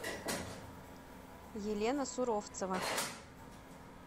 елена суровцева